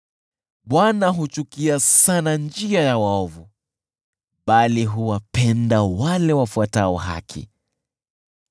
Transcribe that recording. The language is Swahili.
Bwana huchukia sana njia ya waovu, bali huwapenda wale wafuatao haki.